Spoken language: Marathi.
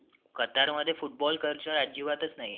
कतार मध्ये football कल्चर अजिबातच नाहीये.